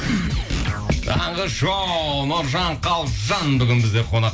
таңғы шоу нұржан қалжан бүгін бізде қонақ